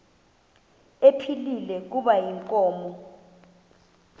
ephilile kuba inkomo